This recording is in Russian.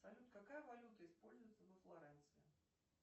салют какая валюта используется во флоренции